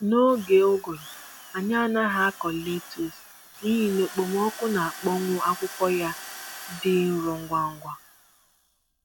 N'oge ụgụrụ, anyị anaghị akụ letus n'ihi na okpomọkụ na-akpọmwụ akwụkwọ ya dị nro ngwa ngwa.